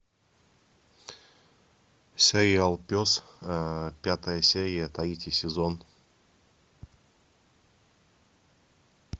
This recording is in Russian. сериал пес пятая серия третий сезон